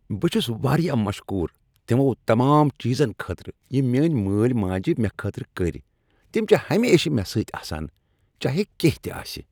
بہٕ چھس واریاہ مشکور تمو تمام چیزن خٲطرٕ یم میٲنۍ مٲلۍ ماجِہ مےٚ خٲطرٕ کٔرۍ۔ تم چھ ہمیشہٕ مےٚ سۭتۍ آسان، چاہے کینٛہہ تِہ آسہ۔